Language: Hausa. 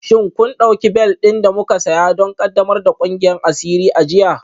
Shin kun ɗauki bel ɗin da muka saya don ƙaddamar da ƙungiyar asiri a jiya?